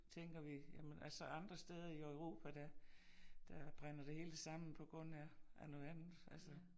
Tænker vi jamen altså andre steder i Europa der der brænder det hele sammen på grund af af noget andet altså